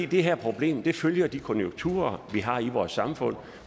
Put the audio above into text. her problem følger de konjunkturer vi har i vores samfund